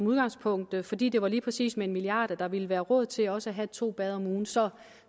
udgangspunktet fordi det var med lige præcis en milliard kr at der ville blive råd til også at tage to bade om ugen så